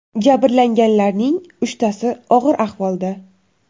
Jabrlanganlarning uchtasi og‘ir ahvolda.